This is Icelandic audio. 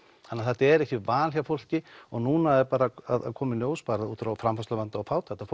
þannig þetta er ekki val hjá fólki og núna er að koma í ljós út frá framfærsluvanda og fátækt að